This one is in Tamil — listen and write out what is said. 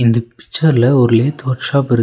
இந்த பிச்சர்ல ஒரு லேத் வொர்க் ஷாப் இருக்கு.